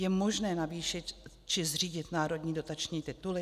Je možné zvýšit či zřídit národní dotační tituly?